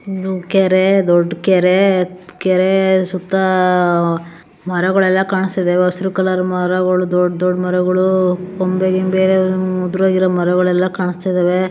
ಒಂದು ಕೆರೆ ದೊಡ್ಡ ಕೆರೆ ಕೆರೆಯ ಸುತ್ತ ಮರಗಳೆಲ್ಲಾ ಕಾಣಿಸುತ್ತಾ ಇದ್ದಾವೆ ಹಸಿರು ಕಲರ್ ಮರಗಳು. ದೊಡ್ಡ ದೊಡ್ಡ ಮರಗಳು ಕೊಂಬೆಗಿಂಬೆ ಉದ್ರೋಗಿರೋ ಮರಗಳೆಲ್ಲ ಕಾಣಿಸ್ತಾ ಇದಾವೆ.